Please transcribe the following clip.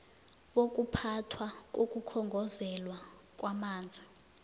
bokuphathwa kokukhongozelwa kwamanzi